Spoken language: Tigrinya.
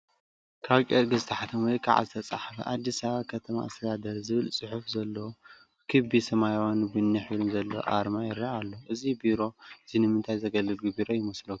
ኣብ ጨርቂ ዝተሓተመ ወይ ከዓ ዝተፀሓፈ "ኣዲስ ኣበባ ከተማ ኣስተዳደር" ዝብል ፅሑፍ ዘለዎ ብክቢ ሰማያውን ቡኒ ሕብርን ዘለዎ ኣርማ ይረአ ኣሎ፡፡ እዚ ቢሮ እዚ ንምንታይ ዘገልግል ቢሮ ይመስለኩም?